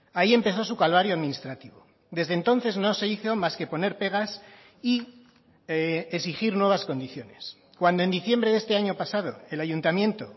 ahí empezó su calvario administrativo desde entonces no se hizo más que poner pegas y exigir nuevas condiciones cuando en diciembre de este año pasado el ayuntamiento